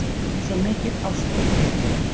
Svo mikil ást og gleði